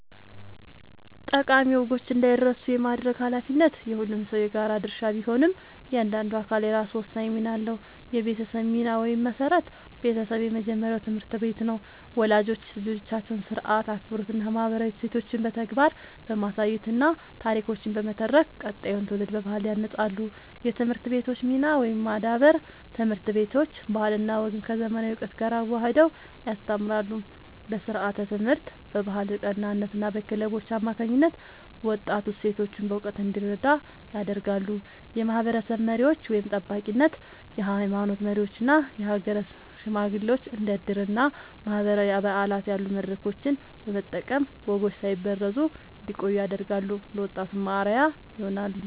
ጠቃሚ ወጎች እንዳይረሱ የማድረግ ኃላፊነት የሁሉም ሰው የጋራ ድርሻ ቢሆንም፣ እያንዳንዱ አካል የራሱ ወሳኝ ሚና አለው፦ የቤተሰብ ሚና (መሠረት)፦ ቤተሰብ የመጀመሪያው ትምህርት ቤት ነው። ወላጆች ልጆቻቸውን ሥርዓት፣ አክብሮትና ማህበራዊ እሴቶችን በተግባር በማሳየትና ታሪኮችን በመተረክ ቀጣዩን ትውልድ በባህል ያንጻሉ። የትምህርት ቤቶች ሚና (ማዳበር)፦ ትምህርት ቤቶች ባህልና ወግን ከዘመናዊ እውቀት ጋር አዋህደው ያስተምራሉ። በስርዓተ-ትምህርት፣ በባህል ቀናትና በክለቦች አማካኝነት ወጣቱ እሴቶቹን በእውቀት እንዲረዳ ያደርጋሉ። የማህበረሰብ መሪዎች (ጠባቂነት)፦ የሃይማኖት መሪዎችና የሀገር ሽማግሌዎች እንደ ዕድርና ማህበራዊ በዓላት ያሉ መድረኮችን በመጠቀም ወጎች ሳይበረዙ እንዲቆዩ ያደርጋሉ፤ ለወጣቱም አርአያ ይሆናሉ።